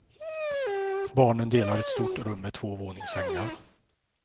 Barnen delar ett stort rum med två våningssängar.